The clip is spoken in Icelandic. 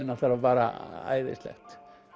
náttúrulega bara æðislegt